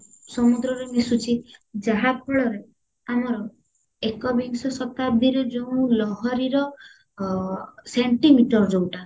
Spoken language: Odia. ସମୁଦ୍ରରେ ମିଶୁଚି ଯାହା ଫଳରେ ଆମର ଏକ ବିଂଶ ଶତାବ୍ଦୀର ଯେଉଁ ଲହରୀର centimeter ଯୋଉଟା